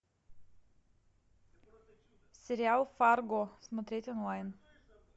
сериал фарго смотреть онлайн